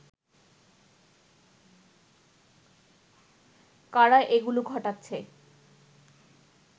কারা এগুলো ঘটাচ্ছে